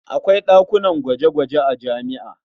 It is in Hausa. Akwai ɗakunan gwaje-gwaje a jami'a.